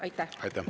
Aitäh!